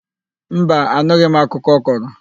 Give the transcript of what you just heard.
Mba, anụghị m akụkọ ọ kọrọ.